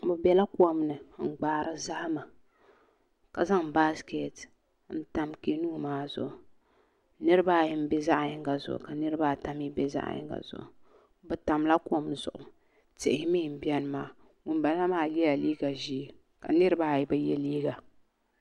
Bi biɛla kom ni n gbaari zahama ka zaŋ baaskɛt n tam kɛnuun maa zuɣu niraba ayi n bɛ zaɣ yinga zuɣu ka niraba ata mii bɛ zaɣ yinga zuɣu bi tamla kom zuɣu tihi mii n biɛni maa ŋunbala maa yɛla liiga ʒiɛ ka niraba ayi bi yɛ liiga